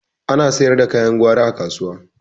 Ana sayar da kayan gwari a kasuwa